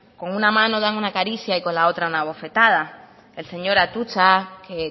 con una mano dan una caricia y con la otra una bofetada el señor atutxa que